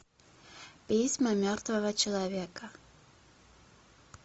письма мертвого человека